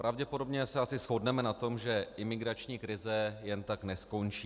Pravděpodobně se asi shodneme na tom, že imigrační krize jen tak neskončí.